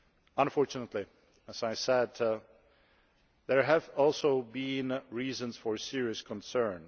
Unfortunately, as I said, there have also been reasons for serious concern.